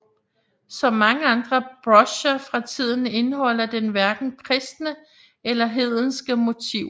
Som mange andre brocher fra tiden indeholder den hverken kristne eller hedenske motiver